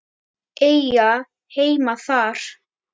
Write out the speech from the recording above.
Eiga heima þar.